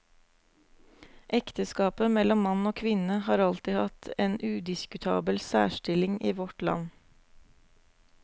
Ekteskapet mellom mann og kvinne har alltid hatt en udiskutabel særstilling i vårt land.